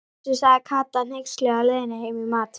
Fossi, sagði Kata hneyksluð á leiðinni heim í mat.